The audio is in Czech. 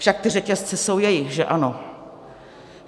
Však ty řetězce jsou jejich, že ano.